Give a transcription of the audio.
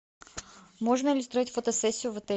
можно ли устроить фотосессию в отеле